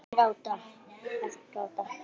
Ekki gráta